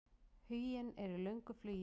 Huginn er í löngu flugi.